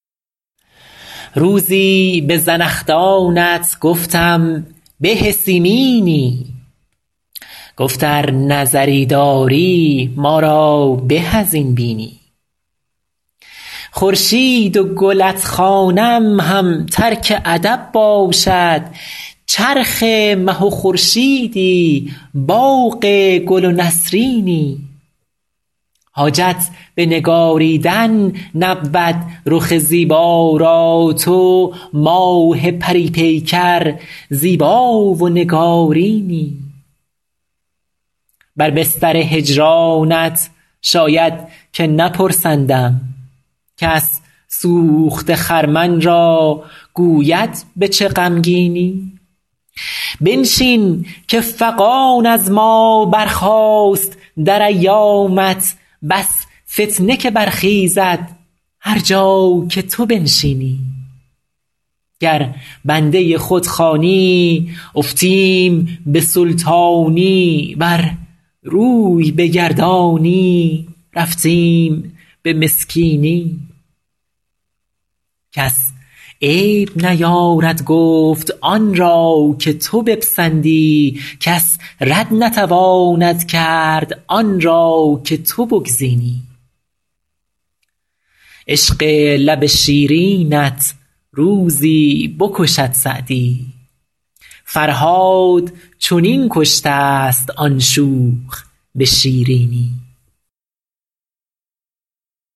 روزی به زنخدانت گفتم به سیمینی گفت ار نظری داری ما را به از این بینی خورشید و گلت خوانم هم ترک ادب باشد چرخ مه و خورشیدی باغ گل و نسرینی حاجت به نگاریدن نبود رخ زیبا را تو ماه پری پیکر زیبا و نگارینی بر بستر هجرانت شاید که نپرسندم کس سوخته خرمن را گوید به چه غمگینی بنشین که فغان از ما برخاست در ایامت بس فتنه که برخیزد هر جا که تو بنشینی گر بنده خود خوانی افتیم به سلطانی ور روی بگردانی رفتیم به مسکینی کس عیب نیارد گفت آن را که تو بپسندی کس رد نتواند کرد آن را که تو بگزینی عشق لب شیرینت روزی بکشد سعدی فرهاد چنین کشته ست آن شوخ به شیرینی